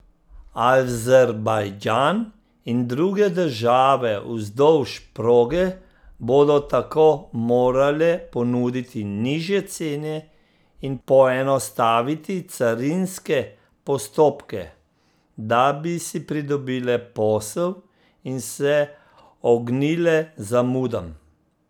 Azerbajdžan in druge države vzdolž proge bodo tako morale ponuditi nižje cene in poenostaviti carinske postopke, da bi si pridobile posel in se ognile zamudam.